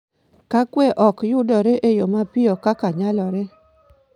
Ka kwe ok yudore e yo mapiyo kaka nyalore,